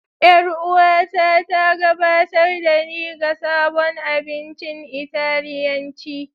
Yar'uwata ta gabatar da ni ga sabon abincin Italiyanci.